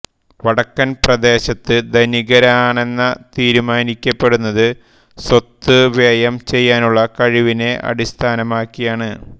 വടക്കൻ പ്രദേശത്ത് ധനികനാരെന്ന തീരുമാനിക്കപ്പെടുന്നത് സ്വത്ത് വ്യയം ചെയ്യാനുള്ള കഴിവിനെ അടിസ്ഥാനമാക്കിയാണ്